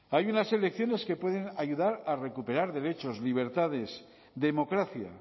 hay unas elecciones que pueden ayudar a recuperar derechos libertades democracia